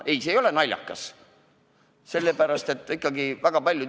Ei, see ei ole naljakas!